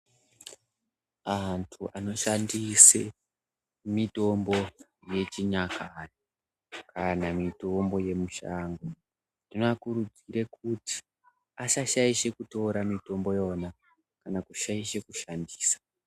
Antu anoshandise mitombo yechinyakare kana mitombo yemishango tinoakurudzire kuti asa shaishe kútora mitombó yóna kana kushaishe kushandisa.